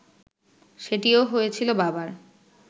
সেটিও হয়েছিল বাবার